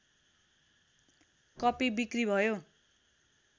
कपि बिक्री भयो